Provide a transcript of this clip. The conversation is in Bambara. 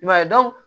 I b'a ye